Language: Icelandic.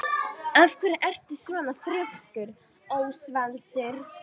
Af hverju ertu svona þrjóskur, Ósvaldur?